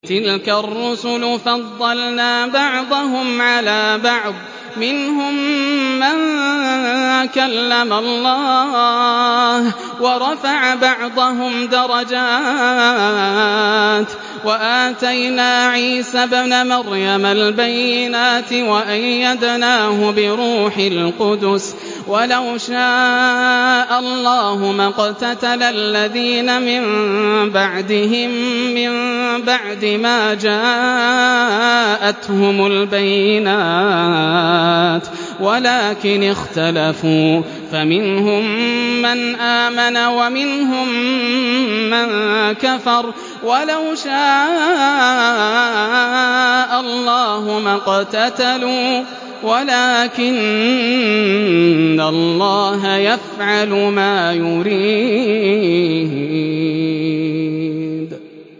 ۞ تِلْكَ الرُّسُلُ فَضَّلْنَا بَعْضَهُمْ عَلَىٰ بَعْضٍ ۘ مِّنْهُم مَّن كَلَّمَ اللَّهُ ۖ وَرَفَعَ بَعْضَهُمْ دَرَجَاتٍ ۚ وَآتَيْنَا عِيسَى ابْنَ مَرْيَمَ الْبَيِّنَاتِ وَأَيَّدْنَاهُ بِرُوحِ الْقُدُسِ ۗ وَلَوْ شَاءَ اللَّهُ مَا اقْتَتَلَ الَّذِينَ مِن بَعْدِهِم مِّن بَعْدِ مَا جَاءَتْهُمُ الْبَيِّنَاتُ وَلَٰكِنِ اخْتَلَفُوا فَمِنْهُم مَّنْ آمَنَ وَمِنْهُم مَّن كَفَرَ ۚ وَلَوْ شَاءَ اللَّهُ مَا اقْتَتَلُوا وَلَٰكِنَّ اللَّهَ يَفْعَلُ مَا يُرِيدُ